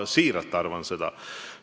Siiralt arvan seda.